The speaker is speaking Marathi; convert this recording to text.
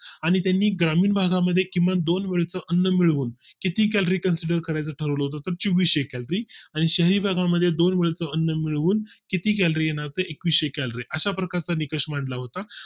आणि त्यांनी ग्रामीण भागा मध्ये किमान दोन वेळ चं अन्न मिळवून किती colorie consider करायचं ठरवलं होतं चौविशे आणि शहरी भागां मध्ये दोन मिळून किती calorie आहेत एकविसशे calorie अशाप्रकार चा निकष मानला होता